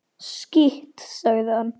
Skítt, sagði hann.